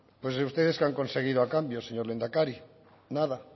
pues ustedes qué han conseguido a cambio señor lehendakari nada